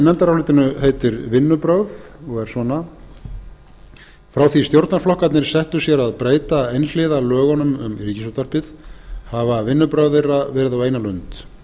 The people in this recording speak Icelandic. nefndarálitinu heitir vinnubrögð og er svona afar fimm hundruð fimmtíu og níu frá því stjórnarflokkarnir settu sér að breyta einhliða lögunum um ríkisútvarpið hafa vinnubrögð þeirra verið á eina lund